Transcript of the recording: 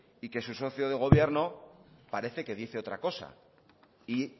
y que su socio de gobierno parece que dice otra cosa y